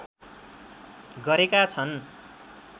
गरेका छन्।